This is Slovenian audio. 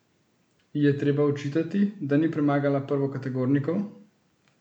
Ji je treba očitati, da ni premagala prvokategornikov?